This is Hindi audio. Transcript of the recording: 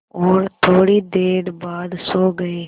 और थोड़ी देर बाद सो गए